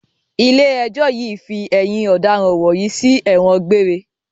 Ilé ẹjọ́ yìí fi ẹ̀yin ọ̀daràn wọ̀nyí sí ẹ̀wọ̀n gbére!